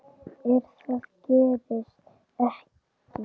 En það gerist ekki.